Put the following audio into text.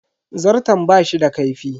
Zarton bashi da kaifi.